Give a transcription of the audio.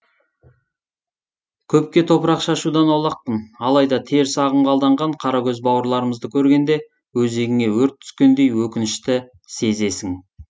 көпке топырақ шашудан аулақпын алайда теріс ағымға алданған қаракөз бауырларымызды көргенде өзегіңе өрт түскендей өкінішті сезесің